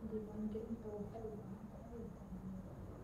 Diiwaangelinta waxay u baahan tahay daryeel.